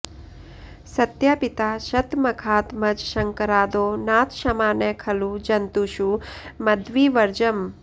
सत्यापिता शतमखात्मजशङ्करादौ नाथ क्षमा न खलु जन्तुषु मद्विवर्जम्